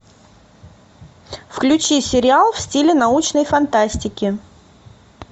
включи сериал в стиле научной фантастики